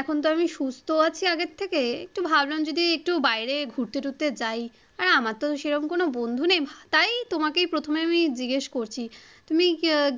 এখন তো আমি সুস্ত আছি আগের থেকে একটু ভাবলাম যদি একটু বাইরে ঘুরতে টুরতে যাই, আর আমার তো সে রকম কোনো বন্ধু নেই তাই তোমাকেই প্রথমে আমি জিজ্ঞেস করছি তুমি